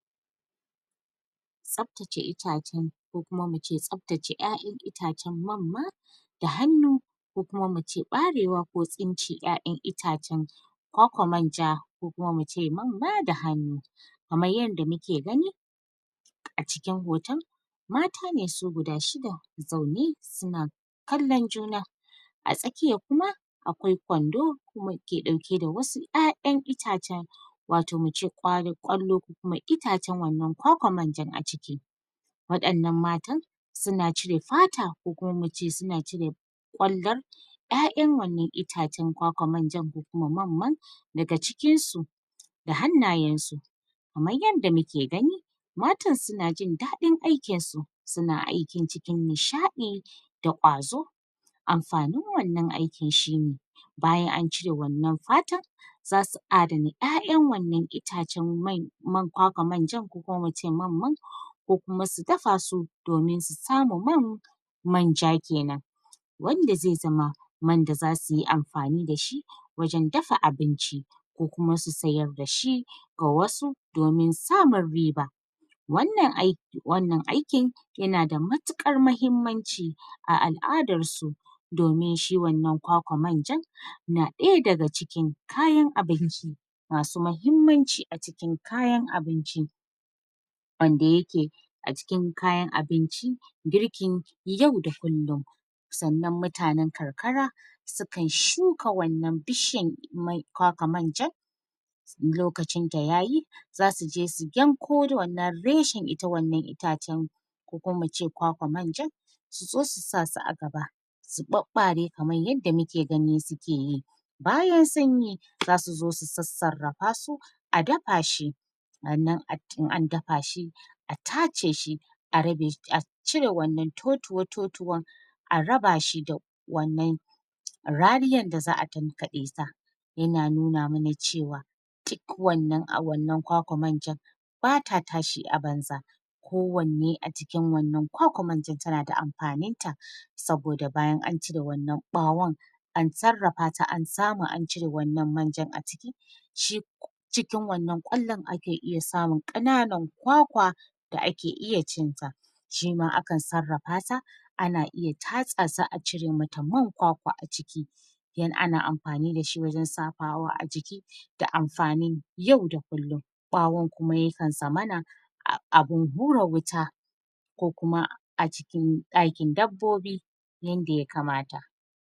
Tsaftace itacen ko kuma mu ce tsaface 'ya'yan itacen mamma da hannu, ko kuma mu ce ɓarewa ko tsince 'ya'yan itacen kawakwar manja ko kuma mu ce mamma da hannu, kamar yadda mu ke gani a cikin hoton mata ne su guda shida zaune su na kallon juna, a tsakiya kuma akwai kwando kuma ke ɗauke da wasu 'ya'yan itacen wato mu ce ƙwalo..ƙwallo kuma iatcen wannan kwakwar manjan a ciki waɗannan matan su na cire fata ko kuma mu ce su na cire ƙwallon 'ya'yan wannan itacen kwakwar manjan ko kuma mamman daga cikin su da hannayensu, kamar yadda mu ke gani matan su na jin daɗin aikinsu su na aikin cikin nishaɗi da ƙwazo, amfanin wannan aikin shine bayan an cire wannan fatar za su adana 'ya'yan wannan itacen mai... mankwakwar manjan ko mu c mamman ko kuma su dafa su domin su samu man manja kenan, wanda zai zama man da za su yi amfani da shi wajen dafa abinci, ko kuma su sayar da shi a wasu domin samun riba, wannan aiki...wannan aikin ya na da matuƙar mahimmanci a al'adarsu, domin shi wannan kwakwar manjan na ɗaya daga cikin kayan abinci ma su mahimmanci a cikin kayan abinci wanda ya ke a cikin kayan abinci girkin yau da kullum, sannan mutanen karkara sukan shuka wannan bishiyan mai... kwakwar manjan in lokacinta ya yi za su je su yanko wannan reshen ita wannan itacen, ko kuma mu ce kwakwar manjan su zo su sa su a gaba, su ɓaɓɓare kamar yadda mu ke gani su ke yi, bayan sun yi za su zo su sassarrafa su a dafa shi sannan in an dafa shi a tace shi a rabe shi a cire wannan totuwa totuwan a raba shi da wannan rariyar da za'a tankaɗe sa ya na nuna ma na ce wa duk wannan a wannan kwakwar manjan ba ta tashi a banza kowanne a cikin wannan kwakwar manjan ta na da amfaninta saboda bayan an cire wannan ɓawon an sarrafa ta an samu an cire wannan manjan a ciki shi cikin wannan ƙwallon ake iya samun ƙananan kwakwa da ake iya cin ta, shima akan sarrafa sa an iya tatsa sa a cire ma ta man kwakwa a ciki, ana amfani da shi wajen shafawa a jiki da amfanin yau da kullum, ɓawon kuma ya kan zamana abun hura wuta ko kuma a cikin ɗakin dabbobi yanda ya kamata.